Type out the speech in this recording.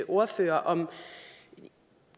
ordfører om